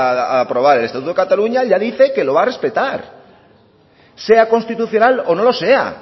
a aprobar el estatuto de cataluña ya dice que lo va a respetar sea constitucional o no lo sea